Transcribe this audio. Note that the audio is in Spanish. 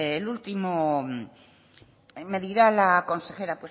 el último me dirá la consejera